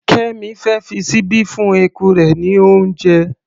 Kẹ́mì fẹ́ fi ṣíbí fún eku rẹ̀ ní oúnjẹ.